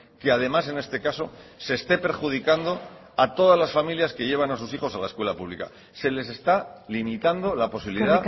que además en este caso se esté perjudicando a todas las familias que llevan a sus hijos a la escuela pública se les está limitando la posibilidad